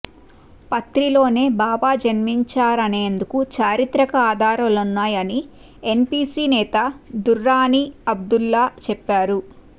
పత్రిలోనే బాబా జన్మించారనేందుకు చారిత్రక ఆధారాలున్నాయని ఎన్సీపీ నేత దుర్రానీ అబ్దుల్లా చెప్పారు